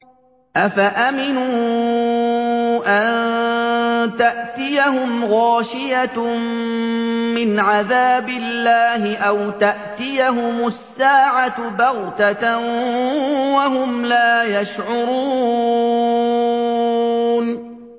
أَفَأَمِنُوا أَن تَأْتِيَهُمْ غَاشِيَةٌ مِّنْ عَذَابِ اللَّهِ أَوْ تَأْتِيَهُمُ السَّاعَةُ بَغْتَةً وَهُمْ لَا يَشْعُرُونَ